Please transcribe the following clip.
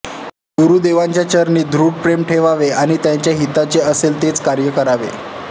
गुरुदेवांच्या चरणी दृढ प्रेम ठेवावे आणि त्यांच्या हिताचे असेल तेच कार्य करावे